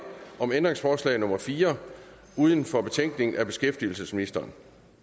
om ændringsforslag nummer fire uden for betænkningen af beskæftigelsesministeren